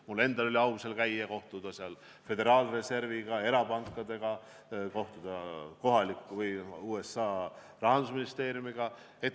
Mul endal oli au seal käia ning kohtuda föderaalreservi, erapankade ja rahandusministeeriumi esindajatega.